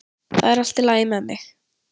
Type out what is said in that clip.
Það er allt í lagi með mig